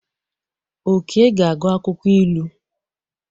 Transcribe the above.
Oke ga-agụ akwụkwọ ilu.